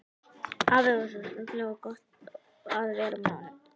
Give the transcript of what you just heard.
Afi var svo skemmtilegur og gott að vera með honum.